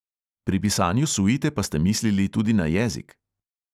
Pri pisanju suite pa ste mislili tudi na jezik?